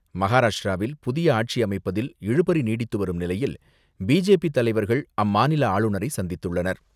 மகாராஷ்டிராவில் புதிய ஆட்சி அமைப்பதில் இழுபறி நீடித்துவரும் நிலையில், பி.ஜே.பி. தலைவர்கள் அம்மாநில ஆளுநரை சந்தித்துள்ளனர்.